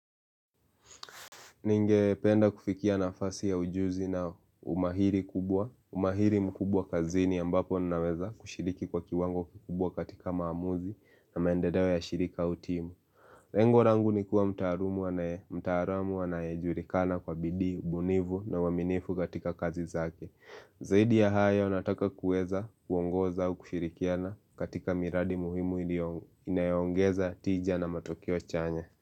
Ningependa kufikia nafasi ya ujuzi na umahiri kubwa, umahiri mkubwa kazini ambapo ninaweza kushiriki kwa kiwango kikubwa katika maamuzi na maendeleo ya shirika au timu. Lengo langu ni kuwa mtaalumu anaye, mtaalamu anayejulikana kwa bidii, ubunifu na uaminifu katika kazi zake. Zaidi ya hayo nataka kuweza, kuongoza, au kushirikiana katika miradi muhimu inayoongeza tija na matokeo chanya.